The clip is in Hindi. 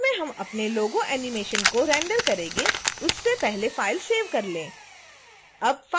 अंत में हम अपने logo animation को रेंडर करेंगे उससे पहले फाइल सेव कर लें